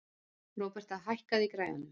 Róberta, hækkaðu í græjunum.